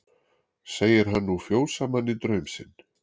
Segir hann nú fjósamanni draum sinn.